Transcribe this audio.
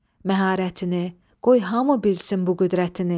Məharətini, qoy hamı bilsin bu qüdrətini.